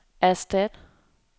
erstat